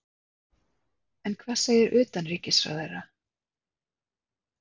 En hvað segir utanríkisráðherra?